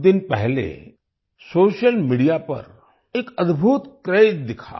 कुछ दिन पहले सोशल मीडिया पर एक अद्भुत क्रेज दिखा